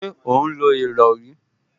Ṣé ó ń lo ìrọrí?